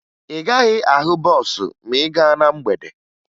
Ị gaghị ahụ bọọsụ ma ị gaa na mgbede